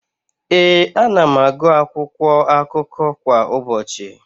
Ee, ana m agụ akwụkwọakụkọ kwa ụbọchị.